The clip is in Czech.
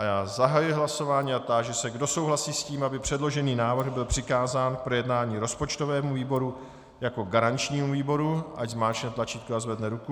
A já zahajuji hlasování a táži se, kdo souhlasí s tím, aby předložený návrh byl přikázán k projednání rozpočtovému výboru jako garančnímu výboru, ať zmáčkne tlačítko a zvedne ruku.